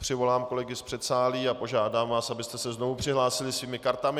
Přivolám kolegy z předsálí a požádám vás, abyste se znovu přihlásili svými kartami.